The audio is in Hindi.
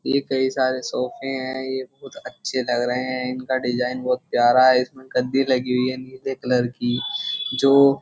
ये कई सारे सोफे हैं ये बहुत अच्छे लग रहे हैं। इनका डिज़ाइन बहुत प्यारा है इसमे गददी लगी हुई है नीले कलर की जो --